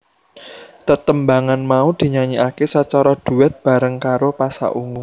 Tetembangan mau dinyanyikaké sacara duet bareng karo Pasha Ungu